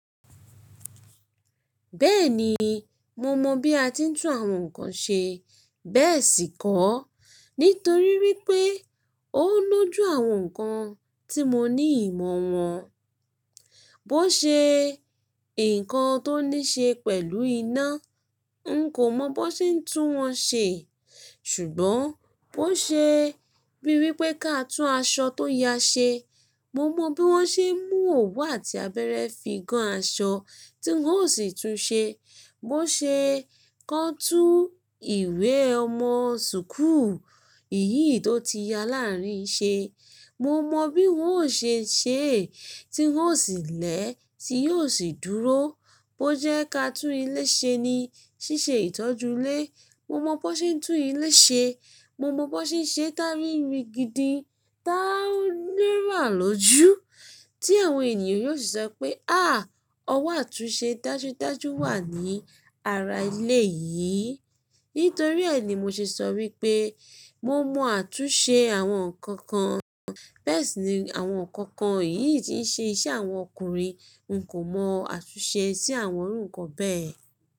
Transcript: Bẹ́ẹ̀ni, mo mọ bí a ti ń tún àwọn nǹkan ṣe bẹ́ẹ̀ sì kọ́, nítorí wípé ó ń lọ jú àwọn nǹkan tí mo ní ìmọ̀ wọn. Bó ṣe nǹkan tó ní ṣe pẹ̀lú iná, n kò mọ bó ṣe ń tún wọ́n ṣe. Ṣùgbọ́n bóṣe bí wípé kí a tún aṣọ tó ya ṣe, mo mọ bí wọ́n ṣe mú òwú àti abẹ́ẹ̀rẹ́ fi gán aṣọ tí wọ́n ó sì túnṣe. Bó ṣe kán tún ìwé ọmọ sùkú iyìí tó ti ya láàárín ṣe, mo mọ bí wọ́n ó ṣe ṣe é, tí wọ́n ó sì lẹ̀ ẹ́, tí yóò sì dúró. Bó jẹ́ ká tún ilé ṣe ni, ṣíṣe ìtọ́jú ilé, mo mọ bó ṣe ń tún ilé ṣe, mo mọ bó ṣe ń ṣe tári rigidi táa lè ràn lọ́jú, tí àwọn ènìyàn yóò sì sọ pé, áà! Ọwọ́ àtúnṣe dájúdájú wà ní ara ilé yìí. Nítorí ẹ́ ni mo ṣe sọ wípé mo mọ àtúnṣe àwọn nǹkan kan. Bẹ́ẹ̀ sì ni àwọn nǹkan kan yìí tí ń ṣe iṣẹ́ àwọn ọkùnrin, n kò mọ àtúnṣe sí àwọn irú nǹkan bẹ́ẹ̀.